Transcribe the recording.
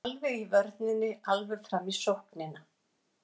Alveg í vörninni alveg fram í sóknina.